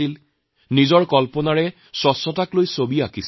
স্বচ্ছতাৰ বিষয়ে তেওঁলোকৰ নিজৰ নিজৰ কল্পনা প্ৰকাশ কৰি ছবি আঁকিছে